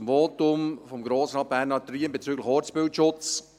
Zum Votum von Grossrat Riem bezüglich Ortsbildschutz: